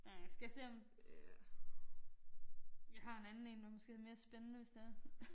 Øh skal jeg se om jeg har en anden én der måske er mere spændende hvis det er